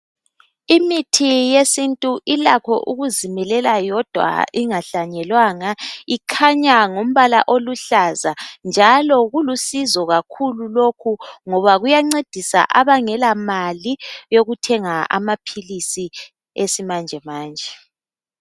Imithi yesintu ilakho ukuzimilela yodwa ingahlanyelwanga ikhanya ngombala oluhlaza, njalo kulusizo kakhulu lokhu ngoba kuyancedisa abangela mali yokuthenga amaphilisi esimanjemanje.